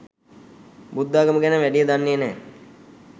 බුද්ධාගම ගැන වැඩිය දන්නේ නැහැ.